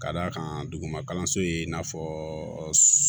Ka d'a kan duguma kalanso ye i n'a fɔ